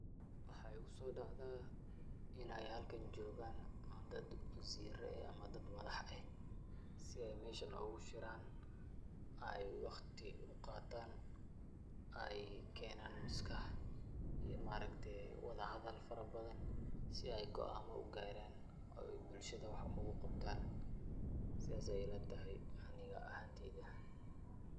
Waxaa igu soodacdaa inay halkan joogaan dad waziiro ah ama dad madax ah si ay meeshan ugu shiraan, ay wakhti u qaataan, ay keenaan maskax iyo wadahadal farabadan si ay go'aamo ugaaraan oo ay bulshada wax ugu qabtaan. Saas ay ila tahay anig ahaanteyda.